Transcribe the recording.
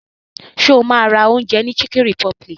Ṣo ma ra oúnjẹ ní chicken republic?